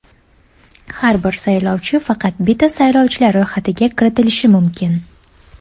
Har bir saylovchi faqat bitta saylovchilar ro‘yxatiga kiritilishi mumkin .